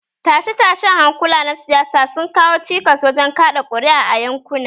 Tashe-tashen hankula na siyasa sun kawo cikas wajen kaɗa ƙuri'a a yankuna